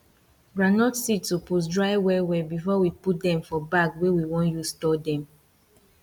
groundnut seed supose dry well well before we put dem for bag wey we want use store dem